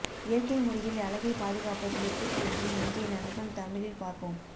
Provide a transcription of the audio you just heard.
இயற்கை முறையில் அழகை பாதுகாப்பது எப்படி என்று இங்கே நண்பன் தமிழில் பார்ப்போம்